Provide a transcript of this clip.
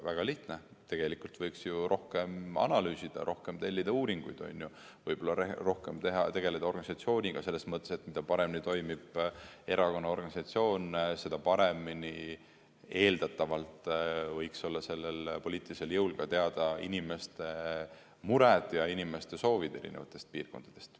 Väga lihtne: tegelikult võiks rohkem analüüsida, rohkem tellida uuringuid, võib-olla rohkem tegeleda organisatsiooniga selles mõttes, et mida paremini toimib erakonna organisatsioon, seda paremini võiks sellel poliitilisel jõul teada olla inimeste mured ja inimeste soovid eri piirkondades.